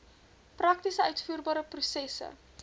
prakties uitvoerbare prosesse